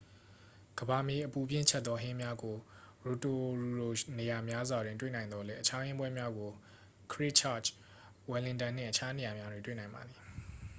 ကမ္ဘာမြေအပူဖြင့် ချက်သော ဟင်းများကို ရိုတိုရူရှိ နေရာများစွာတွင် တွေ့နိုင်သော်လည်း အခြား ဟင်းပွဲများကို ခရစ်ချာ့ချ် ဝယ်လင်တန်နှင့် တခြားနေရာများတွင် တွေ့နိုင်ပါသည်